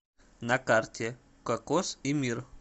на карте кокос и мир